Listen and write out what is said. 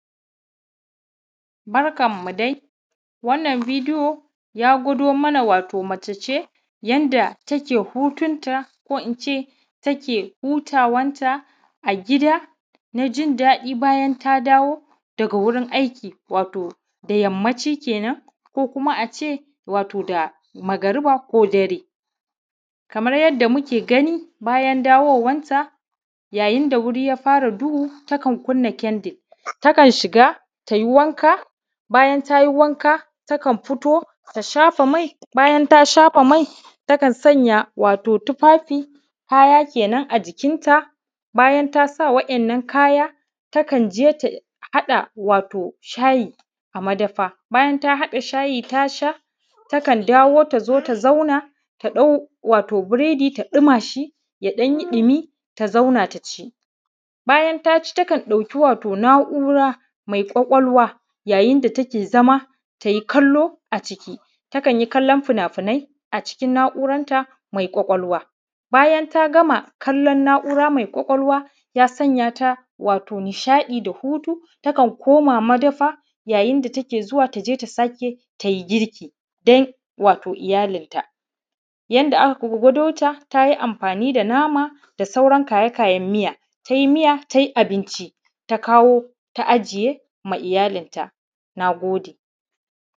Barkanmu dai wannan bidiyo ya gwado mana wato mace ce yanda take hutun ta ko ince taka hutawanta a gida na jin daɗi bayan ta dawo daga wurin aiki wato da yammaci kenan ko kuma a ce wato da magriba ko dare. Kamar yadda muke gani bayan dawowanta yayin da wuri ya fara duhu takan kunna kyandir, takan shiga ta yi wanka bayan ta yi wanka takan fito ta shafa mai bayan ta shafa mai takan sanya wato tufafi kaya kenan a jikinta, bayan ta sa waɗannan kaya takan je ta haɗa wato shyi a madafa. Bayan ta haɗa shayi ta sha takan dawo ta zo ta zauna ta dau wato buredi ta ɗuma shi ya ɗan yi ɗumi ta zauna ta ci. Bayan ta ci takan ɗauki wato na’ura mai ƙwaƙwalwa yayin da take zama ta yi kallo aciki, takan yi kallon finafinai acikin na’uranta mai ƙwaƙwalwa. Bayan ta gama kallon na’ura mai ƙwaƙwalwa ya sanya ta wato nishaɗi da hutu takan koma madafa yayin da take zuwa ta sake ta yi girki don wato iyalinta. Yanda aka gwadota ta yi amfaani da nama da sauran kaya-kayan miya ta yi abinci ta kawo ta ajiye ma iyalinta, naagode